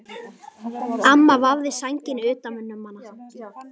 Amma vafði sænginni utan um hana.